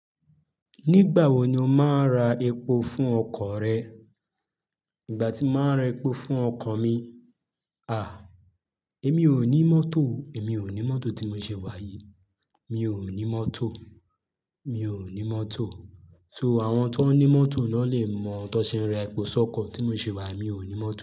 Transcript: Nígbà wo ni o máa ra epo fún ọkọ̀ rẹ? Ìgbà tí màá ra epo fún ọkọ̀ mi. À, èmi ò ní mọ́tò. Èmi ò ní mọ́tò tí mo ṣe wá yìí. Mi ò ní mọ́tò. Mi ò ní mọ́tò. So àwọn tó ní mọ́tò lọ́ lè mọ tọse ń ra epo sọ́kọ̀. Tí mo ṣe wá, mi ò ní mọ́tò.